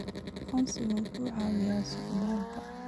Aqoonsiyadu waxay caawiyaan socdaalka.